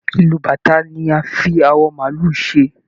Ìlù bàtá ni a fi àwọ maálù ṣe.